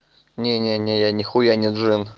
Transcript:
не не не я нехуя не джин